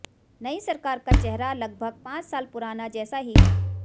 नई सरकार का चेहरा लगभग पांच साल पुराना जैसा ही है